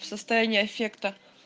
состояние аффекта